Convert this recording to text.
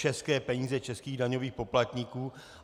České peníze českých daňových poplatníků.